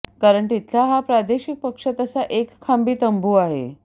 कारण तिथला हा प्रादेशिक पक्ष तसा एकखांबी तंबू आहे